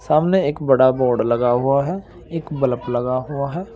सामने एक बड़ा बोर्ड लगा हुआ है एक बल्ब लगा हुआ है।